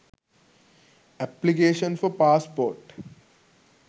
application for passport